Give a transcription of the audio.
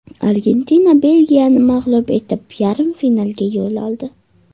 Argentina Belgiyani mag‘lub etib, yarim finalga yo‘l oldi.